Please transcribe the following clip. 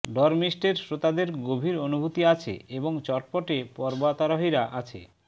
ডরমিস্টের শ্রোতাদের গভীর অনুভূতি আছে এবং চটপটে পর্বতারোহীরা আছে